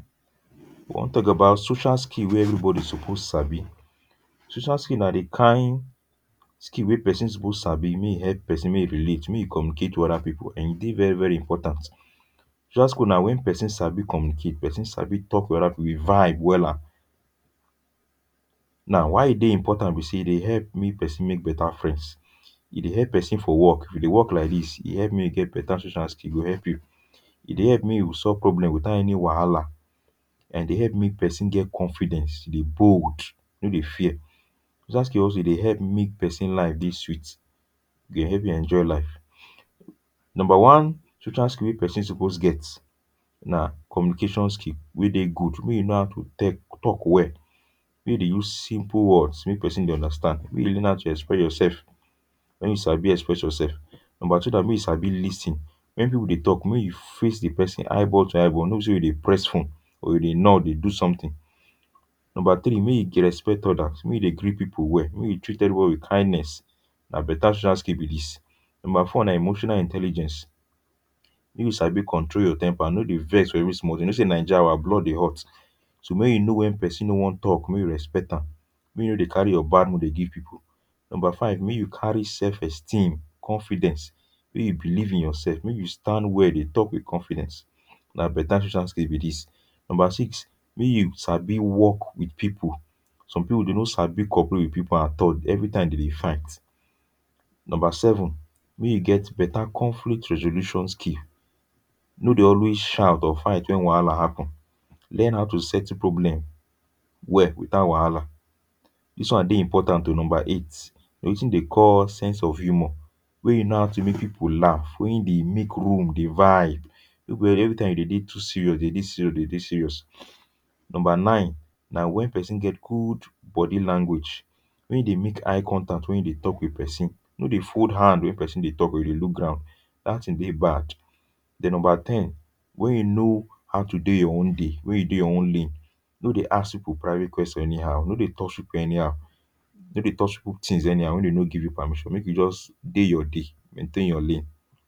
We wan talk about social skill wey everybody suppose sabi. Social skill na di kain skill wey person suppose sabi, make e help person make e relate, make e communicate to other people; and e dey very very important. Social skill na when person sabi communicate, person sabi talk with other people, we vibe wella. Now, why e dey important be say e dey help make person make better friends. E dey help person for work. If you dey work like dis, e dey help make you get beta social skill; e go help you. E dey help make you solve problem without any wahala, and e dey help make person get confidence. E dey bold, e no dey fear. Social skill also e dey help make person life dey sweet. E go help you enjoy life. Number one social skill wey person suppose get na communication skill wey dey good. Make you know how to te...talk well. Make you dey use simple words make person dey understand. Make you dey learn how to express yourself, when you sabi express yourself. Number two na make you sabi lis ten. When people dey talk, make you face dem eyeball-to-eyeball. No be say you dey press phone, you go dey nod, dey do something. Number three, make you respect others. Make you dey greet people well. Make you treat everybody with kindness. Na better social skill be dis. Number four na emotional intelligence. Make you sabi control your temper, no dey vex for every small tin. You know say Naija, our blood dey hot So make you know when person no wan talk, make you respect am. Make you no dey carry your bad mood dey give people. Number five, make you carry self-esteem, confidence. Make you believe in yourself. Make you stand well dey talk with confidence. Na beta shocial skill be dis. Number six, make you sabi work with people. Some people dem no sabi cooperate with people at all. Every time dey dey fight. Number seven, make you get beta conflict resolution skill. No dey always shout or fight when wahala happen. Learn how to settle problem well, without wahala. This one dey important o; number eight, na wetin dey call sense of humour. When you know how to make people laugh, when you dey make room dey vibe. No be every time you dey dey too serious, you dey dey serious, you dey dey serious. Number nine, na when person get good body language. When you dey make eye contact when you dey talk with person. No dey fold hand hand when person dey talk or you go dey look ground. Dat tin dey bad. Then, number ten, when you know how to dey your owndey, when you dey your own lane, no dey ask people private question anyhow. No dey touch people anyhow. No dey touch people tins anyhow when dem no give you permission. Make you just dey your dey, maintain your lane.